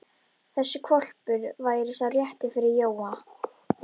Þessi hvolpur væri sá rétti fyrir Jóa.